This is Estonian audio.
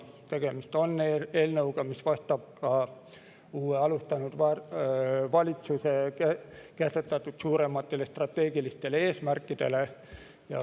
Tegemist on eelnõuga, mis vastab ka uue, alustanud valitsuse kehtestatud suurematele strateegilistele eesmärkidele.